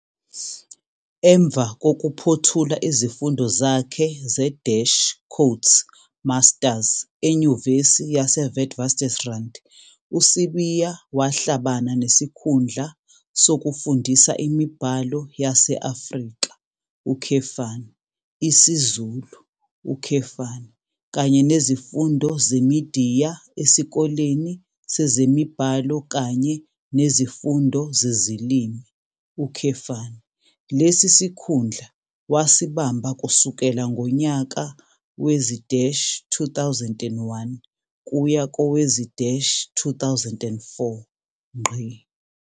Emva kokuphuthula izifundo zakhe ze-"Masters"eNyuvesi yaseWitswatersrand uSibiya wahlabana nesikhundla sokufundisa imiBhalo yaseAfrika, isiZulu, kanye neziFundo zeMidiya eSikoleni sezeMibhalo kanye neziFundo zeziLimi, lesi sikhundla wasibamba kusukela ngonyaka wezi-2001 kuya kowezi-2004.